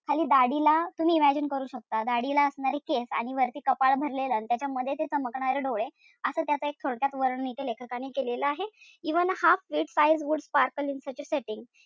खाली दाढीला तुम्ही imagine करू शकता दाढीला असणारे केस आणि वरती कपाळ भरलेला आणि त्याच्यामध्ये ते चमकणारे डोळे. असं त्याच एक थोडक्यात वर्णन इथं लेखकाने केलेलं आहे. Even a half wits eyes would sparkle in such a setting.